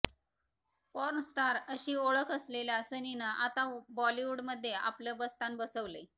porn star अशी ओळख असलेल्या सनीनं आता बॉलिवूडमध्ये आपलं बस्तान बसवलंय